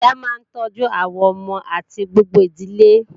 Ìyá máa ń tọ́jú àwọn ọmọ àti gbogbo ìdílé